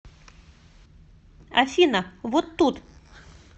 афина вот тут